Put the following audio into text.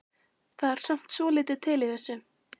Það er samt svolítið til í þessu.